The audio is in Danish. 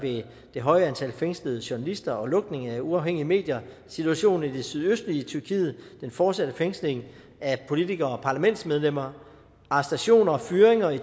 det høje antal fængslede journalister og lukningen af uafhængige medier situationen i det sydøstlige tyrkiet den fortsatte fængsling af politikere og parlamentsmedlemmer arrestationer og fyringer af